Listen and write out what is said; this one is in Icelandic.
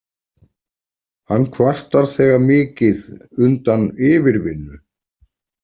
Hann kvartar þegar mikið undan yfirvinnu.